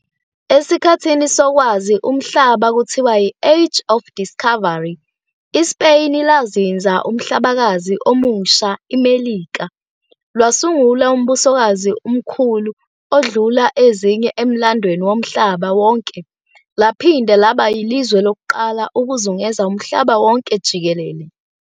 esiKhathini sokwazi umhlaba, kuthiwa yi-"Age of Discovery", iSpeyini lazinza uMhlabakazi oMusha, iMelika, lwasungula uMbusokazi umkhulu ondlula ezinye emlandweni womhlaba wonke, laphinde laba yilizwe lokuqala ukuzungeza umhlaba wonke jikele.